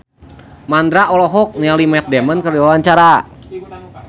Mandra olohok ningali Matt Damon keur diwawancara